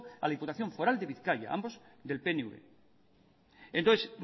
a la diputación foral de bizkaia ambos del pnv entonces